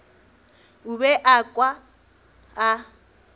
o be a kwa a